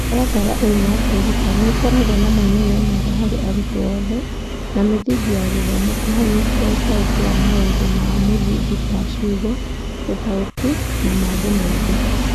Mũtaratara ũyũ wa kwĩruta nĩ ũkoragwo na moimĩrĩra mega harĩ arutwo othe, na mĩthingi ya gĩthomo kũhanyũkia ũtaũku wa maũndũ ma mũthingi ta ciugo, ũtaũku, na mangĩ maingĩ.